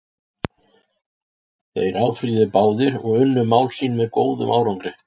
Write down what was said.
Þeir áfrýjuðu báðir og unnu mál sín með góðum árangri.